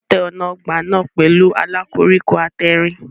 Wọ́n tẹ́ ọ̀nà ọgbà náà pẹ̀lú ààlà koríko àtẹ̀rìn.